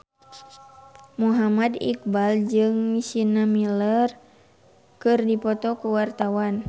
Muhammad Iqbal jeung Sienna Miller keur dipoto ku wartawan